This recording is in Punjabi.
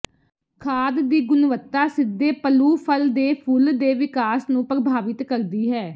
ਖਾਦ ਦੀ ਗੁਣਵੱਤਾ ਸਿੱਧੇ ਪਲੂਫਲ ਦੇ ਫੁੱਲ ਦੇ ਵਿਕਾਸ ਨੂੰ ਪ੍ਰਭਾਵਿਤ ਕਰਦੀ ਹੈ